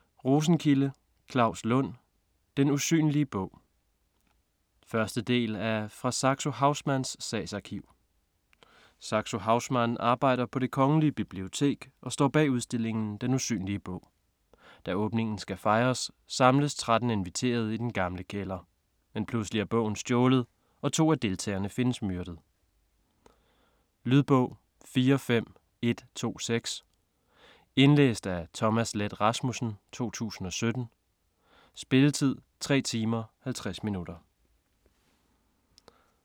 Rosenkilde, Claus Lund: Den usynlige bog 1. del af Fra Saxo Haussmanns sagsarkiv. Saxo Haussmann arbejder på Det Kongelige Bibliotek og står bag udstillingen Den Usynlige Bog. Da åbningen skal fejres, samles 13 inviterede i den gamle kælder. Men pludselig er bogen stjålet og to af deltagerne findes myrdet. Lydbog 45126 Indlæst af Thomas Leth Rasmussen, 2017. Spilletid: 3 timer, 50 minutter.